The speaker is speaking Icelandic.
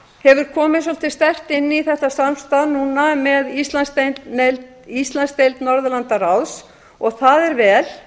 hefur komið svolítið sterkt inn í þetta samstarf núna með íslandsdeild norðurlandaráðs og það er vel